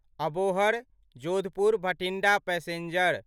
Abohar Jodhpur Bathinda passenger